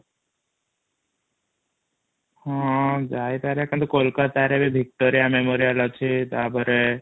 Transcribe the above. ହଁ ଯାଇପାରିଆ ଖାଲି କୋଲକାତା ରେ ବି ଭିକ୍ଟୋରିଆ memorial ଅଛି ତାପରେ